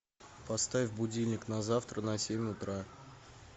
поставь будильник на завтра на семь утра